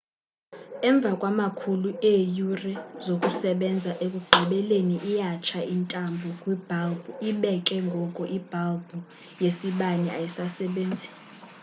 emva kwamakhulu eeyure zokusebenza ekugqibeleni iyatsha intambo kwibhalbhu ibe ke ngoku ibhalbhu yesibane ayisasebenzi